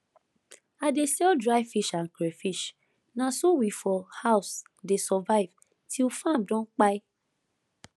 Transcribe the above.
i dey sell dry fish and crayfish na so we for house dey survive till farm don kpai